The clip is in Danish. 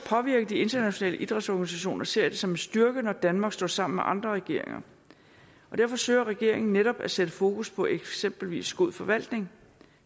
påvirke de internationale idrætsorganisationer ser jeg det som en styrke når danmark står sammen med andre regeringer og derfor søger regeringen netop at sætte fokus på eksempelvis god forvaltning